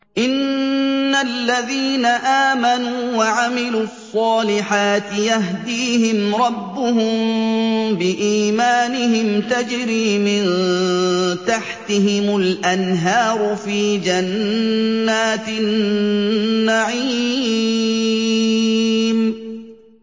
إِنَّ الَّذِينَ آمَنُوا وَعَمِلُوا الصَّالِحَاتِ يَهْدِيهِمْ رَبُّهُم بِإِيمَانِهِمْ ۖ تَجْرِي مِن تَحْتِهِمُ الْأَنْهَارُ فِي جَنَّاتِ النَّعِيمِ